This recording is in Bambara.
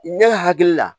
Ne hakili la